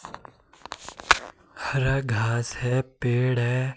हरा घास है पेड़ है।